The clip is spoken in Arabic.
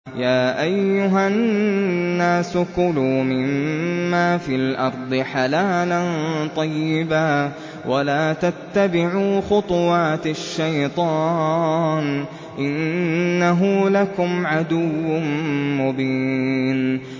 يَا أَيُّهَا النَّاسُ كُلُوا مِمَّا فِي الْأَرْضِ حَلَالًا طَيِّبًا وَلَا تَتَّبِعُوا خُطُوَاتِ الشَّيْطَانِ ۚ إِنَّهُ لَكُمْ عَدُوٌّ مُّبِينٌ